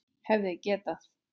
Hefði getað.